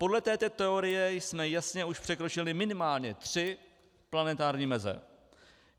Podle této teorie jsme jasně už překročili minimálně tři planetární meze.